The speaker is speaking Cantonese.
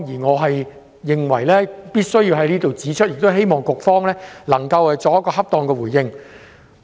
我認為必須在此指出這一點，希望局方可以作出恰當的回應。